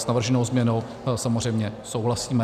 S navrženou změnou samozřejmě souhlasíme.